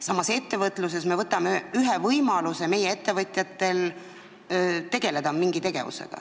Samas me võtame ettevõtjatelt võimaluse mingi tegevusega tegeleda.